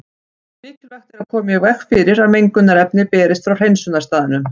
Mikilvægt er að koma í veg fyrir að mengunarefni berist frá hreinsunarstaðnum.